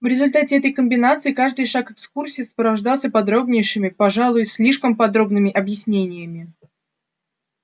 в результате этой комбинации каждый шаг экскурсии сопровождался подробнейшими пожалуй слишком подробными объяснениями